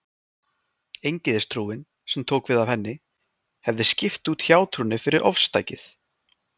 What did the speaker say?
Eingyðistrúin, sem tók við af henni, hefði skipt út hjátrúnni fyrir ofstækið.